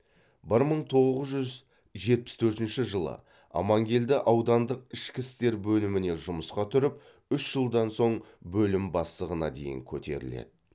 бір мың тоғыз жүз жетпіс төртінші жылы амангелді аудандық ішкі істер бөліміне жұмысқа тұрып үш жылдан соң бөлім бастығына дейін көтеріледі